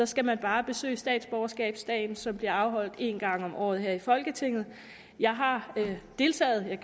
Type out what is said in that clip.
skal man bare besøge statsborgerskabsdagen som bliver afholdt en gang om året her i folketinget jeg har deltaget men